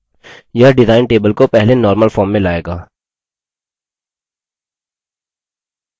यह design table को पहले normal form में लाएगा